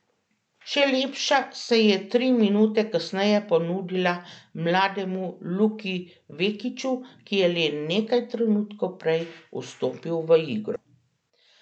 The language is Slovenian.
Še lepša se je tri minute kasneje ponudila mlademu Luki Vekiču, ki je le nekaj trenutkov prej vstopil v igro.